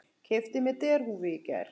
Keypti mér derhúfu í gær.